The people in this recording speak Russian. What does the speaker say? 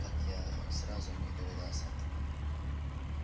как я сразу не догадался